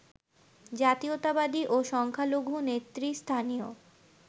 জাতীয়তাবাদী ও সংখ্যালঘু নেতৃস্থানীয়